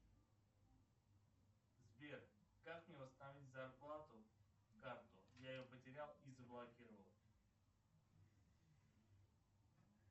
сбер как мне восстановить зарплатную карту я ее потерял и заблокировал